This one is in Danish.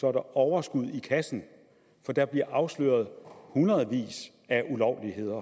er der overskud i kassen for der bliver afsløret hundredvis af ulovligheder